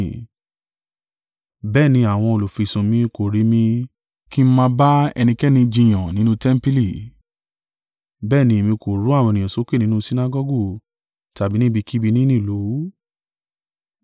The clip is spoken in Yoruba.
Bẹ́ẹ̀ ni àwọn olùfisùn mi kò rí mi kí ń máa bá ẹnikẹ́ni jiyàn nínú tẹmpili, bẹ́ẹ̀ ni èmi kò ru àwọn ènìyàn sókè nínú Sinagọgu tàbí ní ibikíbi nínú ìlú.